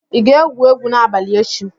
ị ga-egwu egwu n'abalị echi?